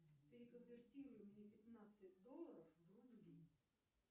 переконвертируй мне пятнадцать долларов в рубли